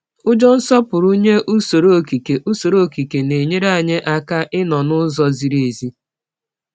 Ụjọ nsọpụrụ nye usoro okike usoro okike na-enyere anyị aka ịnọ n’ụzọ ziri ezi.